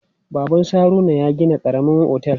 Baban su Haruna ya gina karamar otel.